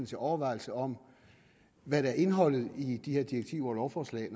til overvejelser om hvad der er indholdet i de her direktiver og lovforslag